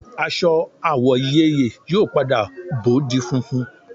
Aṣọ àwọ̀ ìyeyè yóò padà bó di funfun